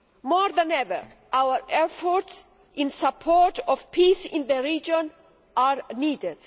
More than ever, our efforts in support of peace in the region are needed.